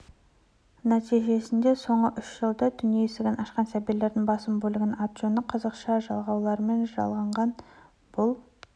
нәтижесінде соңғы үш жылда дүние есігін ашқан сәбилердің басым бөлігінің аты-жөні қазақша жалғауларымен жазылған бұл